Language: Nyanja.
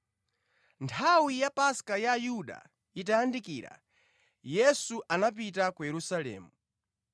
Nthawi ya Paska ya Ayuda itayandikira, Yesu anapita ku Yerusalemu.